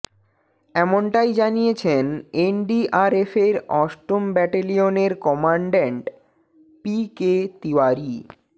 এমনটাই জানিয়েছেন এনডিআরএফের অষ্টম ব্যাটেলিয়নের কম্যান্ডান্ট পি কে তিওয়ারি